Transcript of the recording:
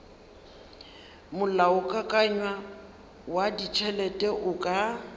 molaokakanywa wa ditšhelete o ka